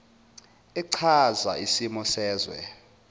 echaza isimo sezwe